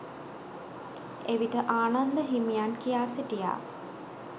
එවිට ආනන්ද හිමියන් කියා සිටියා